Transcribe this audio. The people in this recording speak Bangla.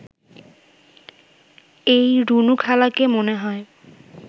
এই রুনুখালাকে মনে হয়